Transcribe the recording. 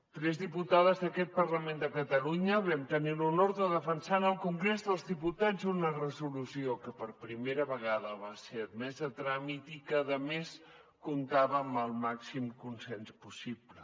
tres diputades d’aquest parlament de catalunya vam tenir l’honor de defensar en el congrés dels diputats una resolució que per primera vegada va ser admesa a tràmit i que a més comptava amb el màxim consens possible